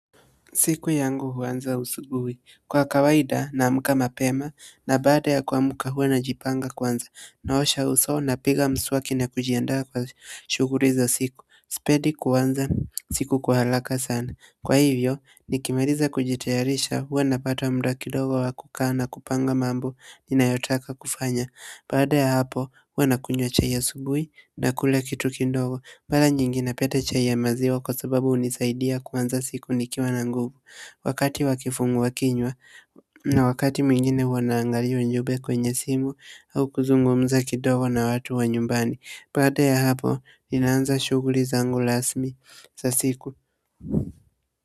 Siku yangu huanza asubuhi kwa kawaida naamka mapema na baada ya kuamka huwa najipanga kwanza. Naosha uso napiga mswaki na kujiandaa kwa shughuli za siku sipendi kuanza siku kwa haraka sana kwa hivyo, nikimaliza kujitayarisha huwa napata muda kidogo wa kukaa na kupanga mambo ninayo taka kufanya baada ya hapo huwa nakunywa chai ya asubuhi nakula kitu kidogo mara nyingi napenda chai ya maziwa kwa sababu hunisaidia kuanza siku nikiwa na nguvu wakati wa kifungua kinywa na wakati mwingine huwa naangalia ujumbe kwenye simu au kuzungumza kidogo na watu wa nyumbani baada ya hapo, ninaanza shughuli zangu rasmi za siku.